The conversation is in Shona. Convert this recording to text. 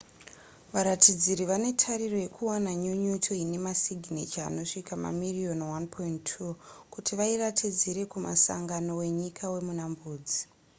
varatidziri vane tariro yekuwana nyunyuto ine masiginecha anosvika mamiriyoni 1.2 kuti vairatidzire kumusangano wenyika wemuna mbudzi